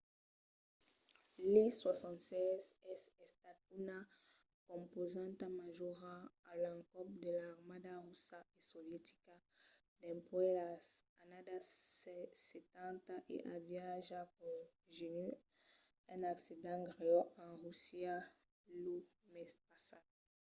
l’il-76 es estat una compausanta majora a l'encòp de l’armada russa e sovietica dempuèi las annadas setanta e aviá ja conegut un accident grèu en russia lo mes passat